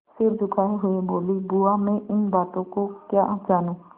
सिर झुकाये हुए बोलीबुआ मैं इन बातों को क्या जानूँ